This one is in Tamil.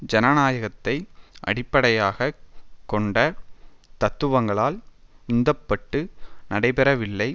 ஜனநாயகத்தை அடிப்படையாக கொண்ட தத்துவங்களால் உந்தப்பட்டு நடைபெறவில்லை